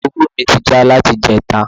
Tepurúrù mi ti já láti ìjẹta